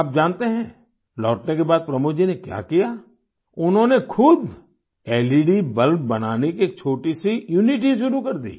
आप जानते हैं लौटने के बाद प्रमोद जी ने क्या किया उन्होंने खुद लेड बल्ब बनाने की एक छोटीसी यूनिट ही शुरू कर दी